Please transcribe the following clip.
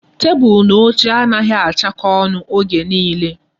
Tebụl na oche anaghị achakọ ọnụ oge nile.